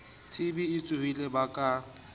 tb e tsohileng ba ka